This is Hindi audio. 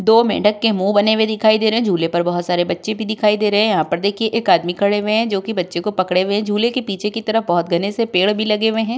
दो मेंढक के मुंह बने हुए दिखाई दे रहे हैं। झूले पर बहुत सारे बच्चे भी दिखाई दे रहे हैं। यहाँ पर देखिए एक आदमी खड़े हुए हैं जो कि बच्चे को पकड़े हुए हैं। झूले के पीछे की तरफ बहुत घने से पेड़ भी लगे हुए हैं।